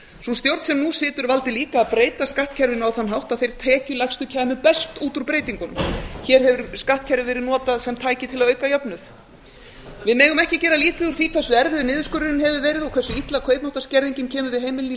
sú stjórn sem nú situr valdi líka að breyta skattkerfinu á þann hátt að þeir tekjulægstu kæmu best út úr breytingunum hér hefur skattkerfið verið notað sem tæki til að auka jöfnuð við megum ekki gera lítið úr því hversu erfiður niðurskurðurinn hefur verið og hversu illa kaupmáttarskerðingin kemur við heimilin í